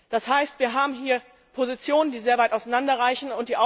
Das heißt, wir haben hier Positionen, die sehr weit auseinanderreichen.